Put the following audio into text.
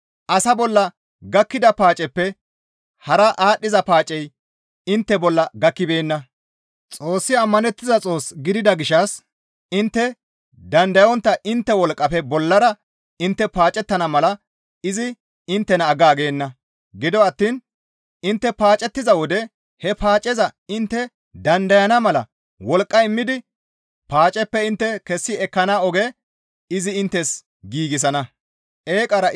Asa bolla gakkida paaceppe hara aadhdhiza paacey intte bolla gakkibeenna; Xoossi ammanettiza Xoos gidida gishshas intte dandayontta intte wolqqafe bollara intte paacettenna mala izi inttena aggaagenna; gido attiin intte paacettiza wode he paaceza intte dandayana mala wolqqa immidi paaceppe intte kessi ekkana oge izi inttes giigsana.